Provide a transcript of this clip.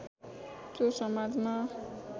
त्यो समाजमा